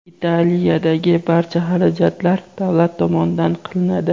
Italiyadagi barcha xarajatlar davlat tomonidan qilinadi.